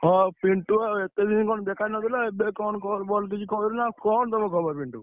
ହଁ ପିଣ୍ଟୁ, ଏତେ ଦିନ କଣ ଦେଖାନ'ଥିଲୁ ଏବେ କଣ call ଫଲ୍ କଣ ତମ ଖବର ପିଣ୍ଟୁ?